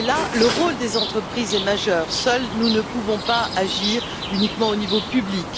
À cet égard, le rôle des entreprises est majeur. Seuls, nous ne pouvons pas agir uniquement au niveau public.